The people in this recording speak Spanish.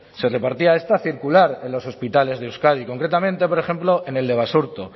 se repartía esta circular en los hospitales de euskadi y concretamente por ejemplo en el de basurto